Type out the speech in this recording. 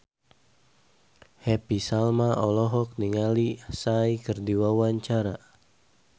Happy Salma olohok ningali Psy keur diwawancara